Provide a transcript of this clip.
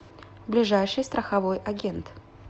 ближайший страховой агент